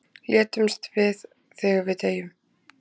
létumst við þegar við deyjum